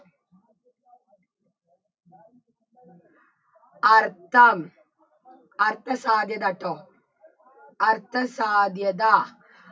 അർത്ഥം അർത്ഥ സാധ്യതട്ടോ അർത്ഥ സാധ്യത